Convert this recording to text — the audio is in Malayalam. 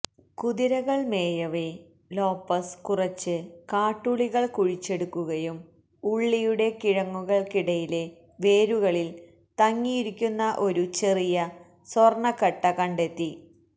കുതിരകൾ മേയവേ ലോപ്പസ് കുറച്ച് കാട്ടുള്ളികൾ കുഴിച്ചെടുക്കുകയും ഉള്ളിയുടെ കിഴങ്ങുക്കിടയിലെ വേരുകളിൽ തങ്ങിയിരിക്കുന്ന ഒരു ചെറിയ സ്വർണ്ണക്കട്ട കണ്ടെത്തി